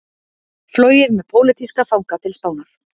Flogið með pólitíska fanga til Spánar